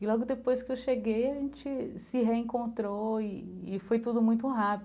E logo depois que eu cheguei, a gente se reencontrou e e foi tudo muito rápido.